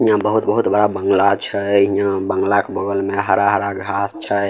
यहाँ बहुत-बहुत बड़ा बांगला छय यहाँ बांगला के बगल में हरा-हरा घास छय।